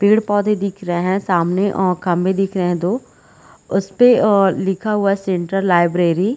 पेड़ पौधे दिख रहे है सामने अ खम्भे दिख रहे है दो उसपे अ लिखा हुआ है सेंट्रल लाइब्रेरी --